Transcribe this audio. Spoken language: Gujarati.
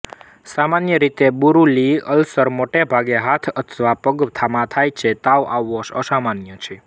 સામાન્ય રીતે બુરુલી અલ્સર મોટે ભાગે હાથ અથવા પગમાં થાય છે તાવ આવવો અસામાન્ય છે